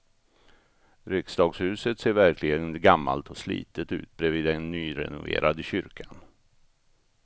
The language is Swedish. Riksdagshuset ser verkligen gammalt och slitet ut bredvid den nyrenoverade kyrkan.